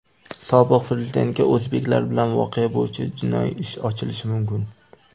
Sobiq Prezidentga o‘zbeklar bilan voqea bo‘yicha jinoiy ish ochilishi mumkin.